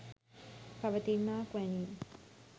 පවතින්නාක් වැනිය.